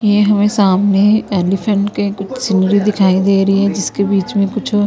ये हमें सामने एलीफेंट के कुछ सीनरी दिखाई दे रही है जिसके बीच में कुछ--